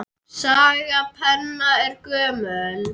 Saga penna er gömul.